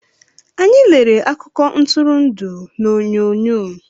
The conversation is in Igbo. Anyị lere akụko Ntụrụndụ na oyonyo